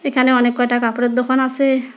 এখানে অনেক কয়টা কাপড়ের দোকান আসে।